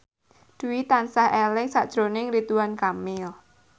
Dwi tansah eling sakjroning Ridwan Kamil